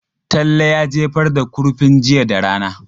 Talle ya jefar da kurfin jiya da rana.